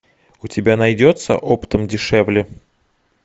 у тебя найдется оптом дешевле